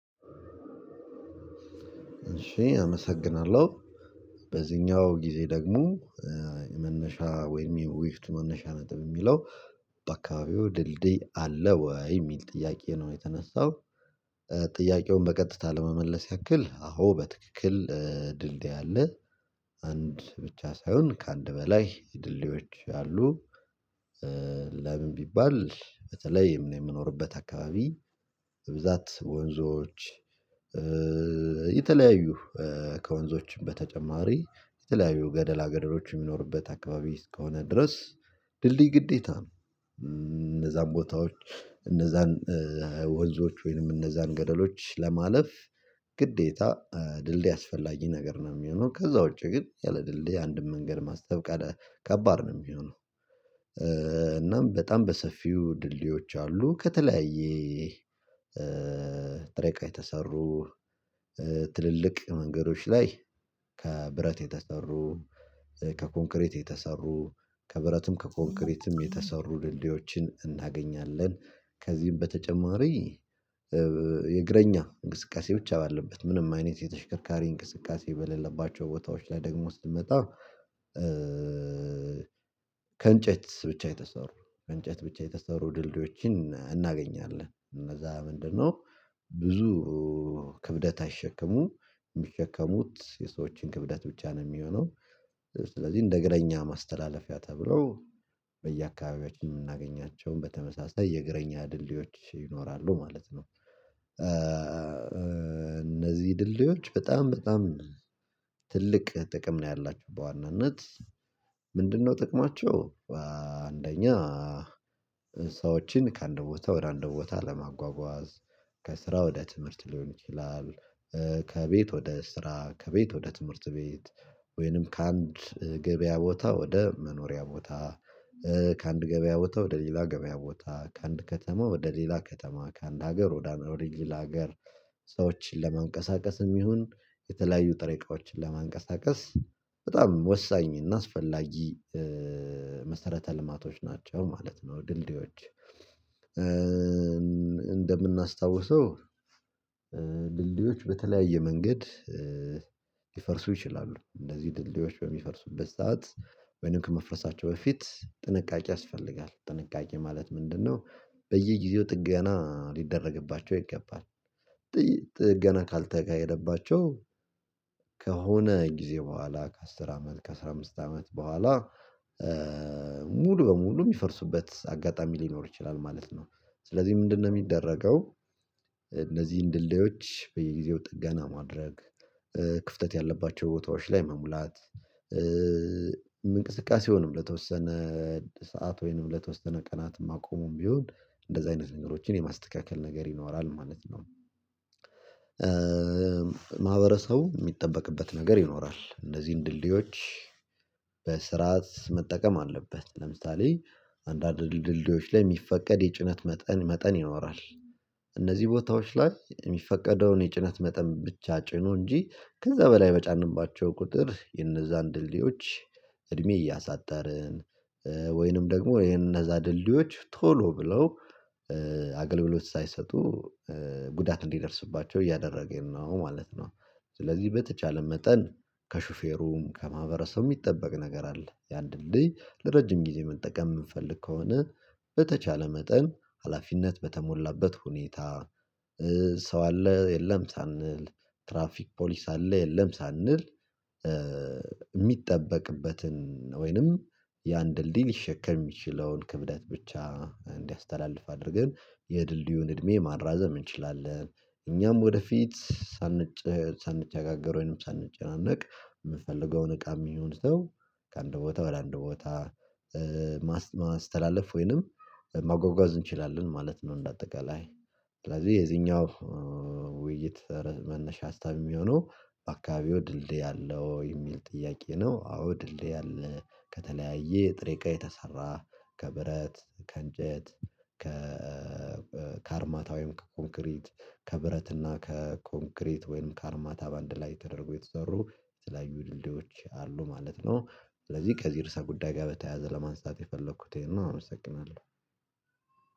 እሺ አመሰግናለሁ በዚኛው ጊዜ ደግሞ መናሻ ወይም የውይፍቱ መነሻ ነጥብ ሚለው በአካባቢው ድልድይ አለ ወይ ሚል ጥያቄ ነው የተነሳው። ጥያቄውን በቀጥታ ለመመለስ ያክል አዎ በትክክል። ድልድይ አለ አንድ ብቻ ሳይሆን ከአንድ በላይ ድልድዮች አሉ። ለምን ቢባል በተለይም የምኖርበት አካባቢ በብዛት ወንዞች የተለያዩ ከወንዞችም በተጨማሪ የተለያዩ ገደላ ገደሎች የሚኖሩበት አካባቢ እስከሆነ ድረስ ድልድይ ግዴታ ነው። እነዛን ቦታዎች እነዛን ወንዞች ወይንም እነዛን ገደሎች ለማለፍ ግዴታ ድልድይ አስፈላጊ ነገር ነው ሚሆነው ከዛ ውጪ ግን ያለ ድልድይ አንድም ምንገድ ማስብ ቀደ ከባድ ነው ሚሆነው። እናም በጣም በሰፊው ድልድዮች አሉ ከተለያየ ጥሬቃ የተሰሩ ትልልቅ የመንገዶች ላይ ከ ብረት የተሰሩ ከ ኮንክሬት የተሰሩ ከ ብረትም ከ ኮንክሪትም የተሰሩ ድልድዮችን እናገኛለን። ከዚህም በተጨማሪ የእግረኛ እንቅስቃሴ ብቻ ባለበት ምንም አይነት የተሽከርካሪ እንቅስቃሴ በለለባቸው ቦታዎች ላይ ደግሞ ስንመጣ። ከእንጨት ብቻ የተሰሩ ከእንጨት ብቻ የተሰሩ ድልድዮችን እናገኛለን እነዛ ምንድነው ብዙ ክብደት አይሸከሙም ሚሸከሙት የሰዎችን ክብደት ብቻ ነው ሚሆነው። ስለዚህ እንደ እግረኛ ማስተላለፊያ ተብለው በየአካባቢያችን የምናገኛቸውን በተመሳሳይ የእግረኛ ድልድዮች ይኖራሉ ማለት ነው። እነዚህ ድልዲዎች በጣም በጣም ትልቅ ጥቅም ነው ያላቸው በዋናነት ምንድነው ጥቅማቸው? አንደኛ ሰዎችን ከአንድ ቦታ ወደ አንድ ቦታ ለማጓጓዝ ከስራ ወደ ትምህርት ሊሆን ይችላል። ከቤት ወደ ስራ ከቤት ወደ ትምህርት ቤት ወይንም ከአንድ ገበያ ቦታ ወደ መኖሪያ ቦታ ከአንድ ገበያ ቦታ ወደ ሌላ ገበያ ቦታ ከአንድ ከተማ ወደ ሌላ ከተማ ከአንድ ሀገር ወደ አንድ ሌላ ሀገር። ሰዎችን ለማንቀሳቀስም ይሁን የተለያዩ ጥሬቃዎችን ለማንቀሳቀስ በጣም ወሳኝ እና አስፈላጊ መሰረተ ልማቶች ናቸው። ማለት ነው ድልድዮች። እንደምናስታውሰው ድልድዮች በተለያየ መንገድ ሊፈርሱ ይችላሉ እንደዚህ ድልድዮች በሚፈርሱበት ሰዓት ወይንም ከመፍረሳቸው በፊት ጥንቃቄ ያስፈልጋል ጥንቃቄ ማለት ምንድነው? በየጊዜው ጥገና ሊደረግባቸው ይገባል። ጥገና ካልተካሄደባቸው ከሆነ ጊዜ በኋላ ከአስር አመት ከአሥራ አምስት አመት በኋላ ሙሉ በሙሉ ሚፈርሱበት አጋጣሚ ሊኖር ይችላል ማለት ነው። ስለዚህ ምንድነው ሚደረገው? እነዚህን ድልድየዎች በየጊዜው ጥገና ማድረግ ክፍተት ያለባቸው ቦታዎች ላይ መሙላት እንቅስቃሴውንም ለተወሰነ ሰዓት ወይንም ለተወሰነ ቀናት ማቆሙም ቢሆን እንደዝህ አይነት ነገሮችን የማስተካከል ነገር ይኖራል ማለት ነው። ማህበረሰቡ ሚጠበቅበት ነገር ይኖራል እንዚን ድልድዮች በስርዓት መጠቀም አለበት። ለምሳሌ አንዳንድ ድልድዮች ላይ ሚፈቀድ የጭነት መጠን መጠን ያኖራል። እነዚህ ቦታዎች ላይ ሚፈቀደውን የጭነት መጠን ብቻ ጭኖ እንጂ ከዛ በላይ በጫነባቸው ቁጥር የነዛን ድልድዮች እድሜ እያሳጠርን ወይንም ደግሞ እሄንን እነዛ ድልድዮች ቶሎ ብለው አገልግሎት ሳይሰጡ ጉዳት እንዲደርስባቸው እያደረገም ነው ማለት ነው። ስለዚህ በተቻለ መጠን ከሹፌሩም ከማህበረሰቡም ሚጠበቅ ነገር አለ። ያን ድልድይ ለረጅም ጊዜ መጠቀም ምንፈልግ ከሆነ በተቻለ መጠን ሀላፊነት በተሞላበት ሁኔታ ሰው አለ የለም ሳንል ትራፊክ ፖሊስ አለ የለም ሳንል እሚጠበቅበትን ወይንም ያን ድልድይ ሊሸከም ሚችለውን ክብደት ብቻ እንዲያስተላልፍ አድርገን የድልድዩን እድሜ ማራዘም እንችላለን። እኛም ወደፊት ሳንጨጋገር ወይንም ሳንጨናነቅ ምፈልገውን እቃም ይሁን ሰው ከአንድ ቦታ ወደ አንድ ቦታ ማስተላለፍ ወይንም ማጎጓዝ እንችላለን ማለት ነው። እንደ አጠቃላይ ስለዚህ የዚህኛው ውይይት መነሻ ሀሳብ የሚሆነው በአካባቢው ድልድይ አለው የሚል ጥያቄ ነው። አዎ ድልድይ አለ። ከተለያየ ጥሬቃ የተሰራ ከብረት ከእንጨት ከ ከአርማታ ወይም ከ ኮንክሪት ከብረት እና ከ ኮንክሪት ወይም ከአርማታ በአንድ ላይ ተደርጎ የተሰሩ የተለያዩ ድልድዮች አሉ ማለት ነው። ስለዚህ ከዚህ ርዕሰ ጉዳይ ጋ በተያያዘ ለማንሳት የፈለኩት እሆን ነው አመሰግናለሁ።